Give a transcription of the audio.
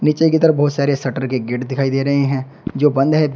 नीचे की तरफ बहुत सारे शटर के गेट दिखाई दे रहे हैं जो बंद है।